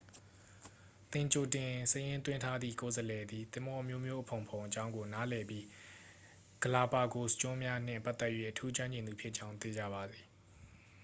သင်ကြိုတင်စာရင်းသွင်းထားသည့် ကိုယ်စားလှယ်သည် သင်္ဘောအမျိုးမျိုးအဖုံဖုံအ‌ကြောင်းကို နားလည်ပြီး ဂလာပါဂိုစ်ကျွန်းများနှင့် ပတ်သက်၍ အထူးကျွမ်းကျင်သူဖြစ်ကြောင်း သေချာပါစေ။